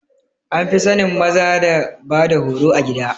An fi sanin maza da bada horo a gida